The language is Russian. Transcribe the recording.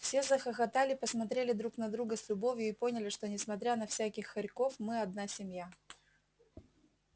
все захохотали посмотрели друг на друга с любовью и поняли что несмотря на всяких хорьков мы одна семья